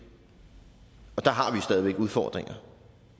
stadig væk udfordringer